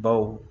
Baw